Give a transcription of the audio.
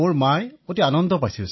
অখিলঃ মোতকৈ সুখী মোৰ মা হৈছিল